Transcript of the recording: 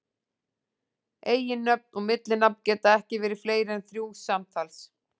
Eiginnöfn og millinafn geta ekki verið fleiri en þrjú samtals.